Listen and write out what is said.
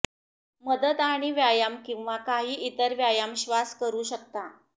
मदत आणि व्यायाम किंवा काही इतर व्यायाम श्वास करू शकता